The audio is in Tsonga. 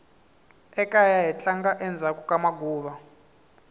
ekaya hi tlanga endzhaku ka maguva